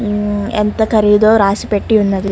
ఉమ్ ఎంత ఖరీదో రాసి పెట్టి ఉన్నది.